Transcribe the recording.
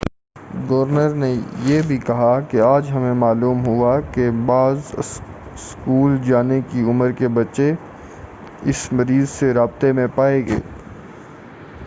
Governor نے یہ بھی کہا کہ،"آج ہمیں معلوم ہوا کہ بعض اسکول جانے کی عمر کے بچے اس مریض سے رابطے میں پائے گئے ہیں۔